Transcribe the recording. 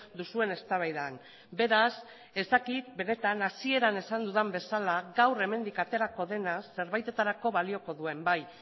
duzuen eztabaidan beraz ez dakit benetan hasieran esan dudan bezala gaur hemendik aterako dena zerbaitetarako balioko duen bai